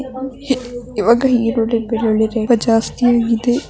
ಈವಾಗ ಈರುಳ್ಳಿ ಬೆಳ್ಳುಳ್ಳಿ ರೇಟ್ ತುಂಬಾ ಜಾಸ್ತಿ ಆಗಿದೆ .